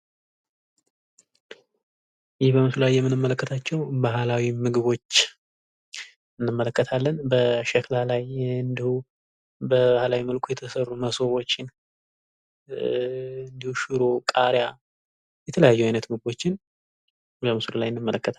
ይህ በምስሉ ላይ የምንመለከታቸው ባህላዊ ምግቦች እንመለከታለን በሸክላ ላይ እንደው በባህላዊ መልኩ የተሰሩ መሶቦችን ኧ እንዲሁም ሽሮ፣ ቃሪያ የተለያዩ አይነት ምግቦችን በምስሉ ላይ እንመለከታለን።